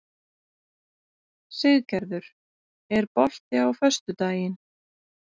Siggerður, er bolti á föstudaginn?